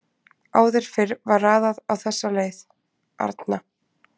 Áður fyrr var raðað á þessa leið: Arna